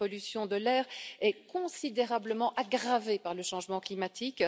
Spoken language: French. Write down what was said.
La pollution de l'air est considérablement aggravée par le changement climatique.